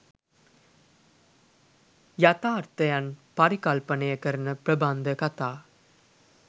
යථාර්ථයන් පරිකල්පනය කරන ප්‍රබන්ධකතා